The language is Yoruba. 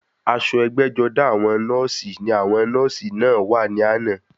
Aṣọ ẹgbẹ́-jọdá àwọn nọ́ọ̀sì ní àwọn nọ́ọ̀sì náà wà ní àná.